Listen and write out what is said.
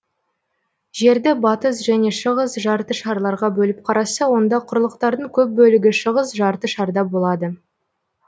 жерді батыс және шығыс жарты шарларға бөліп қараса онда құрлықтардың көп бөлігі шығыс жарты шарда болады